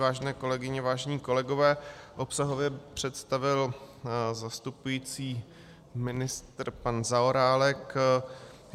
Vážené kolegyně, vážení kolegové, obsahově představil zastupující ministr pan Zaorálek.